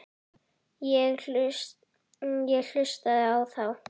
Ég hlustaði á þá.